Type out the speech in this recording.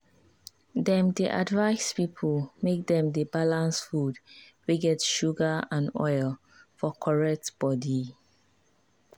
dem dey advice people make dem dey balance food wey get sugar and oil for correct body.